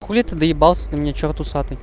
хули ты доебался до меня чёрт усатый